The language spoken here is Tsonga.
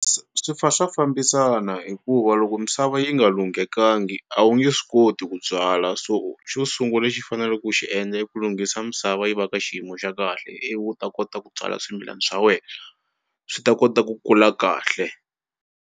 Swi fa swa fambisana hikuva loko misava yi nga lunghekangi a wu nge swi koti ku byala, so xo sungula lexi faneleke ku xi endla i ku lunghisa misava yi va ka xiyimo xa kahle ivi u ta kota ku byala swimilana swa wena swi ta kota ku kula kahle.